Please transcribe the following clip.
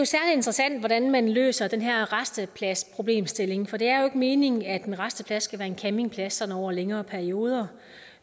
interessant hvordan man løser den her rastepladsproblemstilling for det er jo ikke meningen at en rasteplads skal være en campingplads over længere perioder